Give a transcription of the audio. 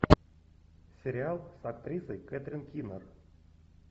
сериал с актрисой кэтрин кинер